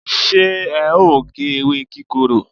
se e o ge ewe kikoro?